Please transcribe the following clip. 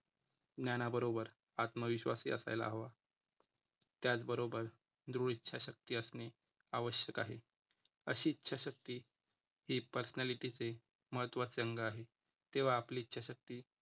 ज्ञानाबरोबर आत्मविश्वास ही असायला हवा. त्याचबरोबर दृढ इच्छाशक्ती असणे आवश्यक आहे. अशी इच्छाशक्ती ही personality चे महत्त्वाचे अंग आहे. तेव्हा आपली इच्छाशक्ती